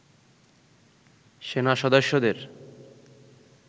সেনা সদস্যদের